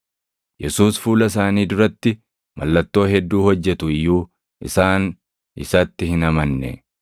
Yesuus fuula isaanii duratti mallattoo hedduu hojjetu iyyuu, isaan isatti hin amanne.